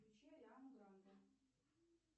включи ариану гранде